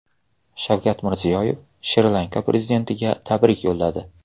Shavkat Mirziyoyev Shri Lanka prezidentiga tabrik yo‘lladi.